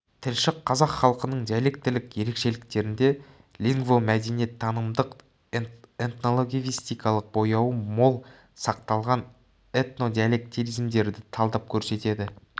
тілші қазақ халқының диалектілік ерекшеліктерінде лингвомәдениеттанымдық этнолингвистикалық бояуы мол сақталған этнодиалектизмдерді талдап көрсетеді